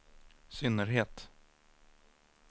synnerhet